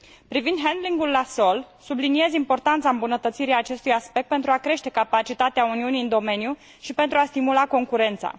Privind handlingul la sol, subliniez importanța îmbunătățirii acestui aspect, pentru a crește capacitatea Uniunii în domeniu și pentru a stimula concurența.